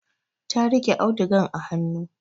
Ta riƙe audugan a hanu